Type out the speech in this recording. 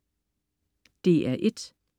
DR1: